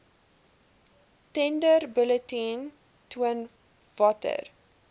tenderbulletin toon watter